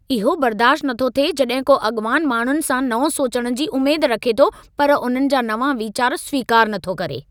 इहो बर्दाश्ति नथो थिए जड॒हिं को अॻवानु माण्हुनि सां नओं सोचणु जी उमेद रखे थो पर उन्हनि जा नवां वीचार स्वीकारु नथो करे।